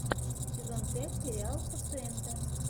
сезон пять сериал пациенты